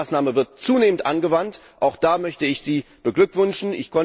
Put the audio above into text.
Auch diese Maßnahme wird zunehmend angewandt, auch da möchte ich Sie beglückwünschen.